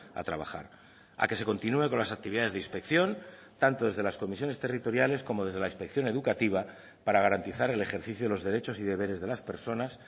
a trabajar a que se continúe con las actividades de inspección tanto desde las comisiones territoriales como desde la inspección educativa para garantizar el ejercicio de los derechos y deberes de las personas